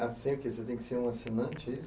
Você tem que ser um assinante é isso?